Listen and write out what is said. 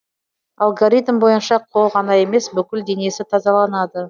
алгоритм бойынша қол ғана емес бүкіл денесі тазаланады